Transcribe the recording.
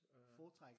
Foretrækker